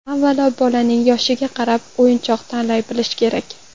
Avvalo, bolaning yoshiga qarab o‘yinchoq tanlay bilish kerak.